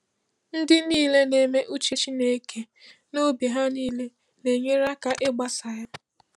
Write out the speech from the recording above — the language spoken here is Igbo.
Ndị niile na-eme uche Chineke n’obi ha niile na-enyere aka ịgbasa ya.